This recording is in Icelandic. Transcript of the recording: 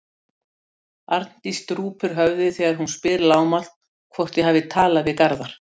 Arndís drúpir höfði þegar hún spyr lágmælt hvort ég hafi talað við Garðar.